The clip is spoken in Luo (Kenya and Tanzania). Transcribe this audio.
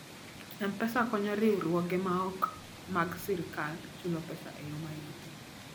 M-Pesa konyo riwruoge maok mag sirkal chulo pesa e yo mayot.